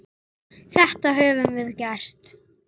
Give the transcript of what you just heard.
Þetta höfum við gert.